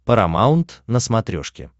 парамаунт на смотрешке